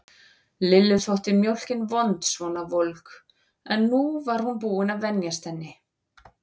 Lillu þótt mjólkin vond svona volg, en nú var hún búin að venjast henni.